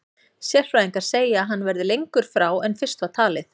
Sérfræðingar segja að hann verði lengur frá en fyrst var talið.